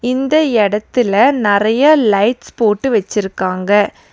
இந்த எடத்துல நறைய லைட்ஸ் போட்டு வெச்சிருக்காங்க.